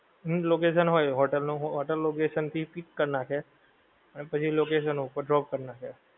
એનું location હોય, hotel નું હોય, હોટેલ location થી pick કર નાંખે અને પછી location ઉપર drop કરી નાંખે.